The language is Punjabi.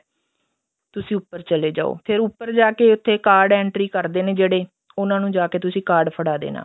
ਤੁਸੀਂ ਉੱਪਰ ਚਲੇ ਜਾਓ ਫਿਰ ਉੱਪਰ ਜਾਕੇ ਉੱਥੇ card entry ਕਰਦੇ ਨੇ ਜਿਹੜੇ ਉਹਨਾ ਨੂੰ ਜਾਕੇ ਤੁਸੀਂ card ਫੜਾ ਦੇਣਾ